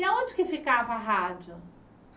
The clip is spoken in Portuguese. E aonde que ficava a rádio?